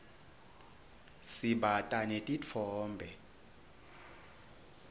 sibata netitfombe